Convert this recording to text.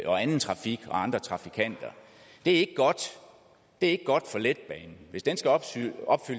og anden trafik og andre trafikanter det er ikke godt for letbanen hvis den skal opfylde